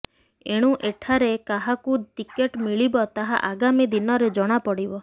ଏଣୁ ଏଠାରେ କାହାକୁ ଟିକେଟ ମିଳିବ ତାହା ଆଗାମୀ ଦିନରେ ଜଣାପଡ଼ିବ